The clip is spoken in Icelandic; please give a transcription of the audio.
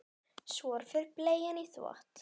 Svo fer bleian í þvott.